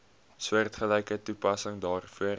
soortgelyke toepassing daarvoor